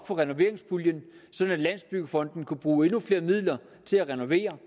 for renoveringspuljen sådan at landsbyggefonden kunne bruge endnu flere midler til at renovere